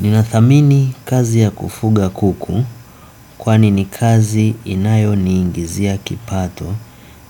Ninathamini kazi ya kufuga kuku kwani ni kazi inayo ni ingizia kipato